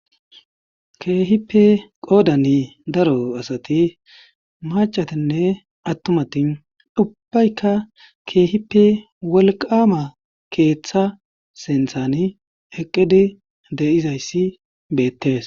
keehippe qoodani daro asati macatinne attumati ubbaykka keehipe walqama keeththa senthani eqqidi de7izayssi beettees